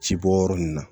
Ci bɔ yɔrɔ nun na